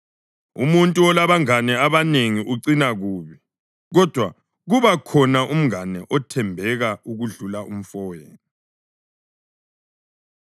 Umuntu olabangane abanengi ucina kubi, kodwa kuba khona umngane othembeka okudlula umfowenu.